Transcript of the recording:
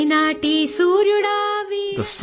Telugu Sound Clip 27 seconds